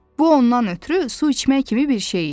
Bu ondan ötrü su içmək kimi bir şey idi.